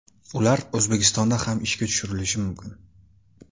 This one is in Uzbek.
Ular O‘zbekistonda ham ishga tushirilishi mumkin.